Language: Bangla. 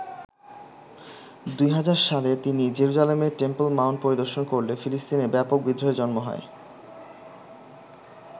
২০০০ সালে তিনি জেরুজালেমের টেম্পল মাউন্ট পরিদর্শন করলে ফিলিস্তিনে ব্যাপক বিদ্রোহের জন্ম হয়।